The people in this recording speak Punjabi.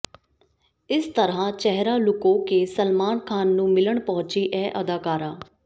ਇਸ ਤਰ੍ਹਾਂ ਚਿਹਰਾ ਲੁਕੋ ਕੇ ਸਲਮਾਨ ਖਾਨ ਨੂੰ ਮਿਲਣ ਪਹੁੰਚੀ ਇਹ ਅਦਾਕਾਰਾ